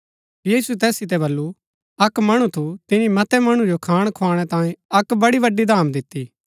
यीशुऐ तैस सितै बल्लू अक्क मणु थू तिनी मतै मणु जो खाण खोआणै तांई अक्क बड़ी बड्‍ड़ी धाम दिती